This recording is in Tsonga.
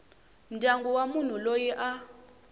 ndyangu wa munhu loyi a